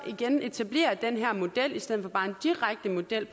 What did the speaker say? igen etablerer den her model i stedet for bare en direkte model